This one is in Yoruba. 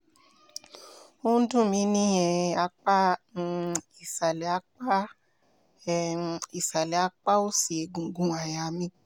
ó ń dùn mí ní um apá um ìsàlẹ̀ apá um ìsàlẹ̀ apá òsì egungun àyà mi